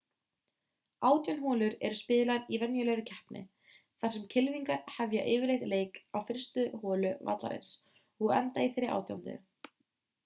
átján holur eru spilaðar í venjulegri keppni þar sem kylfingar hefja yfirleitt leik á fyrstu holu vallarins og enda á þeirri átjándu